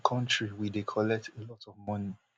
as a kontri we dey collect a lot of money